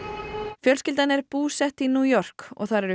fjölskyldan er búsett í New York og þar eru